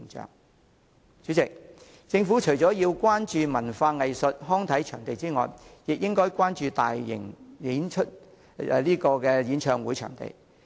代理主席，政府除了要關注文化藝術及康體場地的供求外，亦應關注舉辦大型演唱會的場地。